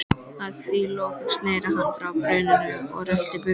Að því loknu sneri hann frá brunninum og rölti burt.